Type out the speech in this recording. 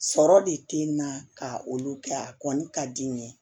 Sɔrɔ de te na ka olu kɛ a kɔni ka di n ye